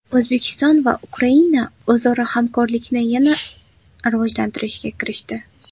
O‘zbekiston va Ukraina o‘zaro hamkorlikni yana rivojlantirishga kirishdi.